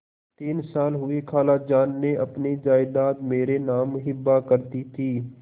तीन साल हुए खालाजान ने अपनी जायदाद मेरे नाम हिब्बा कर दी थी